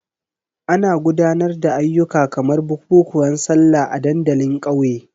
Ana gudanar da ayyuka kamar bukukuwan Sallah a dandalin ƙauye.